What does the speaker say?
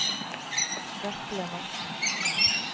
Vetle Madsen